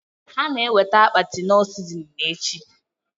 Ha na eweta akpati knorr sizinin echi